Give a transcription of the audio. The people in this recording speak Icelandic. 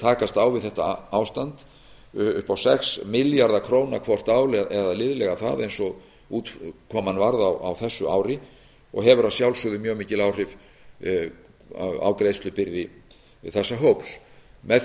takast á við þetta ástand upp á sex milljarða króna hvort ár eða liðlega það eins og útkoman varð á þessu ári og hefur að sjálfsögðu mjög mikil áhrif á greiðslubyrði þessa hóps með